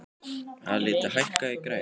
Alida, hækkaðu í græjunum.